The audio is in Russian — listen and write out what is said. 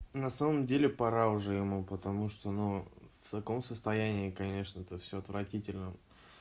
на самом деле пора уже ему потому что ну в таком состоянии конечно это все отвратительно